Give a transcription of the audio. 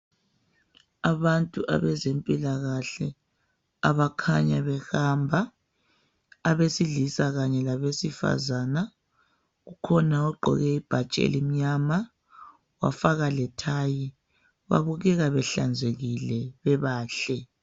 Abantu abazempilakahle abakhanya behamba abesilisa kanye labesifazana , kukhona ogqoke ibhatshi elimnyama wafaka lethayi , babukeka behlanzekile bebahle